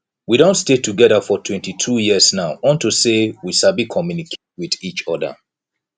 we don stay together for twenty two years now unto say we sabi communicate with each other